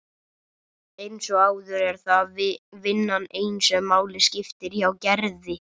Eins og áður er það þó vinnan ein sem máli skiptir hjá Gerði.